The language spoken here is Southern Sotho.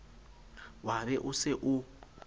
wa be o se o